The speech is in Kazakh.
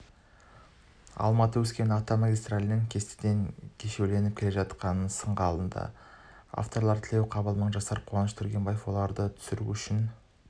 алматы-өскемен автомагистралінің кестеден кешеуілдеп келе жатқанын сынға алды авторлары тілеуқабыл мыңжасар қуаныш түргенбаев оларды түсіру үшін